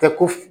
Tɛ ko f